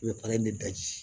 I bɛ para in de daji